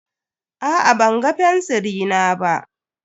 Aa ban ga fensiri na ba.